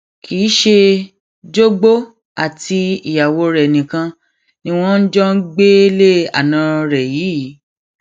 kì í ṣe jogbo àti ìyàwó rẹ nìkan ni wọn jọ ń gbélé àna rẹ yìí